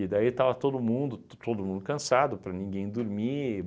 daí estava todo mundo todo cansado para ninguém dormir.